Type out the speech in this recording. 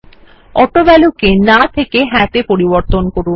অটোভ্যালিউ কে না থেকে হ্যাঁ তে পরিবর্তন করুন